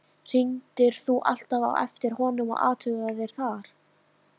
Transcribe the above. Hringdir þú alltaf á eftir honum og athugaðir það?